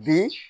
Bi